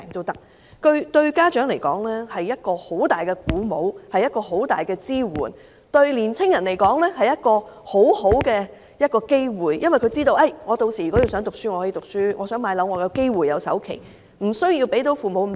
對家長來說，這是很大的鼓舞和支援；對年青人來說，則是很好的機會，因為他們知道，屆時想唸書便唸書，想置業亦能夠繳付首期，父母無須負擔那麼大。